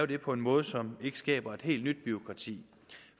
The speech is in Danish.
det på en måde som ikke skaber et helt nyt bureaukrati